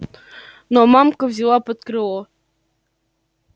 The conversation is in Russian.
но мамка взяла под крыло